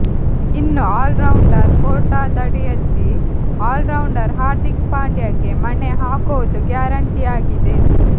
ಇನ್ನು ಆಲ್ರೌಂಡರ್ ಕೋಟಾದಡಿಯಲ್ಲಿ ಆಲ್ರೌಂಡರ್ ಹಾರ್ದಿಕ್ ಪಾಂಡ್ಯಗೆ ಮಣೆ ಹಾಕೋದು ಗ್ಯಾರಂಟಿಯಾಗಿದೆ